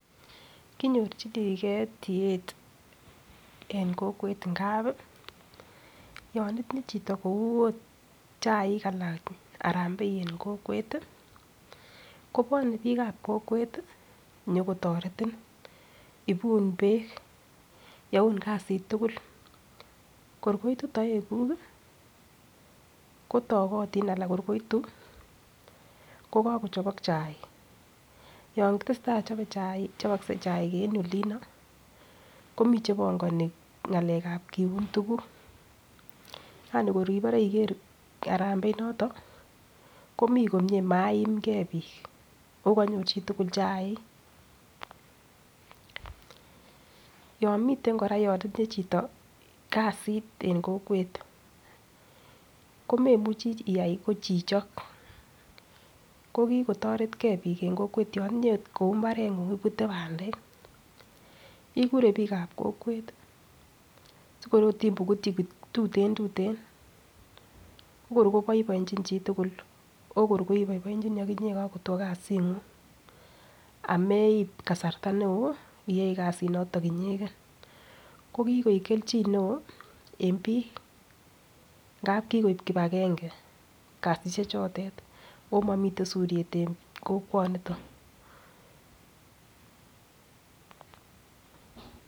Konyorchigee tiet en kokwet ngap yon itinye chito kou ot chaik alan harambee en kokwet kobwone biik ab kokwet ih nyokotoretin ibun beek youn kasit tugul kor koitu toek kuk kotogotin ana kor ngoitu ko kakochobok chaik yon tesetai chobokse chaik en olino komii chebongoni ng'alek ab kiun tuguk ko kor inibore iker harambee inoton komii komie maimgee biik ako konyor chitugul chaik yon miten kora yon itinye chito kasit en kokwet komemuchii iyai ko chichok ko kikotoret gee biik en kokwet yon itinye ot kou mbaret ng'ung ibute bandek ikure biik an kokwet sikor ot imukutyi tuten tuten ko kor koboiboenjin chitugul ko kor iboiboitu okinyee kakotwo kasit ng'ung ameib kasarta neoo iyoe kasit noton inyegen ko kikoik kelchin neoo en biik ngap kikoib kibagange kasisiek chotet ako momiten suryet en kokwoniton